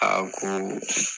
ko